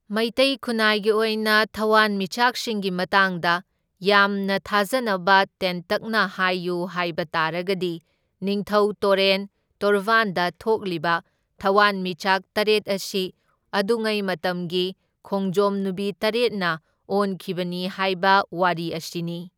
ꯃꯩꯇꯩ ꯈꯨꯟꯅꯥꯏꯒꯤ ꯑꯣꯏꯅ ꯊꯋꯥꯟꯃꯤꯆꯥꯛꯁꯤꯡꯒꯤ ꯃꯇꯥꯡꯗ ꯌꯥꯝꯅ ꯊꯥꯖꯅꯕ ꯇꯦꯟꯇꯛꯅ ꯍꯥꯏꯌꯨ ꯍꯥꯏꯕ ꯇꯥꯔꯒꯗꯤ ꯅꯤꯡꯊꯧ ꯇꯣꯔꯦꯟ ꯇꯣꯔꯕꯥꯟꯗ ꯊꯣꯛꯂꯤꯕ ꯊꯋꯥꯟꯃꯤꯆꯥꯛ ꯇꯔꯦꯠ ꯑꯁꯤ ꯑꯗꯨꯉꯩ ꯃꯇꯝꯒꯤ ꯈꯣꯡꯖꯣꯝ ꯅꯨꯕꯤ ꯇꯔꯦꯠꯅ ꯑꯣꯟꯈꯤꯕꯅꯤ ꯍꯥꯏꯕ ꯋꯥꯔꯤ ꯑꯁꯤꯅꯤ꯫